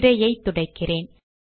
திரையை துடைக்கிறேன்